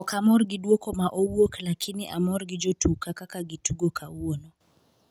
okamor gi duokoma owuoklakini amor gi jotuka kakagitugo kawuono